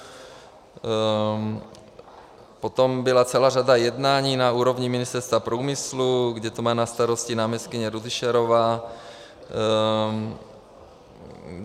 Potom byla celá řada jednání na úrovni Ministerstva průmyslu, kde to má na starosti náměstkyně Rudyšarová.